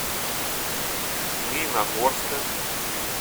змеиногорска